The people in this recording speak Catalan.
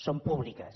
són públiques